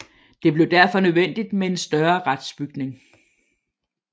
Det blev derfor nødvendigt med en større retsbygning